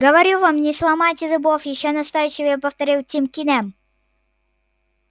говорю вам не сломайте зубов ещё настойчивее повторил тим кинем